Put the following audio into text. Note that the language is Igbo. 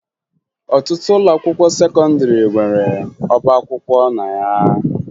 Ọtụtụ ụlọakwụkwọ sekọndịrị nwere ọba akwụkwọ na ya